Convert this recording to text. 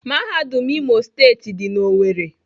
Mahadum Imo steetị di na Owerri.